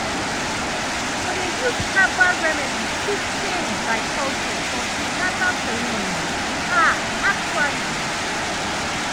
to dey use herbal remedies fit change by culture for prenatal ceremonies ah actually.